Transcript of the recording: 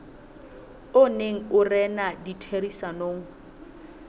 o neng o rena ditherisanong